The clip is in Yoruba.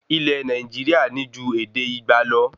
Ilé Nàìjíríà ní ju ède igba lọ